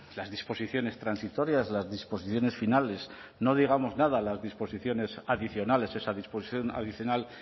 las disposiciones transitorias las disposiciones finales no digamos nada las disposiciones adicionales esa disposición adicional